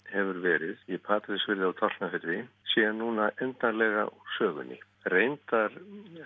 hefur verið í Patreksfirði og Tálknafirði sé núna endanlega úr sögunni reyndar